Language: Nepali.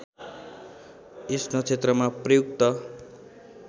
यस नक्षत्रमा प्रयुक्त